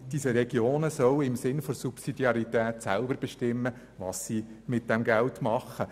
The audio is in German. Diese Regionen sollen im Sinne der Subsidiarität selber bestimmen, was sie mit diesem Geld machen.